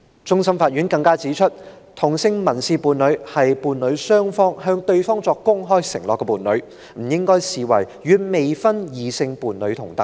終審法院更指出，同性民事伴侶是伴侶雙方向對方作出公開承諾的伴侶，不應被視為與未婚異性伴侶同等。